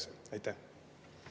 Seda ka tehakse.